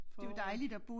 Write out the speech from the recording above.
Forår